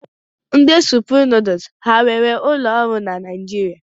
Ndị Supreme nuduls ha e nwere ụlọ ọrụ na Naijiria?